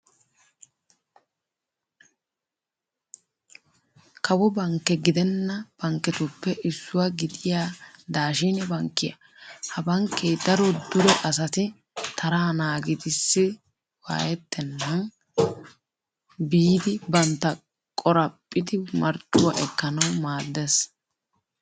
Kawo bankke gidenna bankketuppe issuwaa gidiya daashine bankkiya. Ha bankkee daro dure asati taraa naagiidsi waayettennan biidi bantta qoraphphidi marccuwa ekkanawu maaddes.